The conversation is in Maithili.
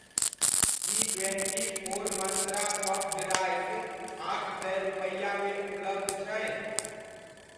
की twenty four Mantra puffed rice आठ सए रुपैआमे उपलब्ध छै?